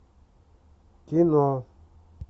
кино